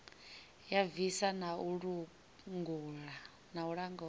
ya bvisa na u langula